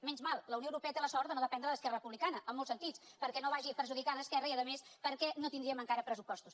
menys mal la unió europea té la sort de no dependre d’esquerra republicana en molts sentits perquè no vagi perjudicada esquerra i a més perquè no tindríem encara pressupostos